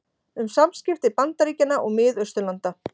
Um samskipti Bandaríkjanna og Mið-Austurlanda